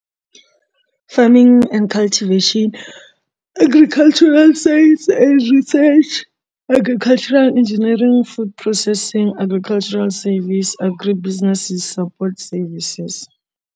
Farming and cultivation agricultural and research agricultural engineering futhi processing agricultural service agri business support services.